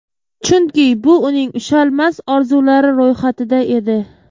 Chunki bu uning ushalmas orzulari ro‘yxatida edi.